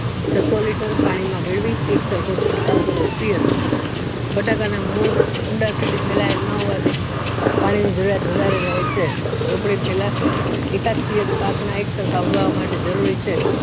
છસ્સો liter પાણી માં ભેળવી એક સરખો ચળકાવ ચડકાવ રવો બટાકાના મૂળ ઊંડા સુધી ફેલાય ન હોવાથી પાણી ની જરૂરિયાત વધુ રહે છે રોપણી પેલા એક આડ પાક ના એક સરખા ઉગવા જરૂરી છે